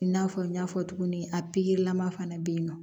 I n'a fɔ n y'a fɔ cogo min a lama fana be yen nɔ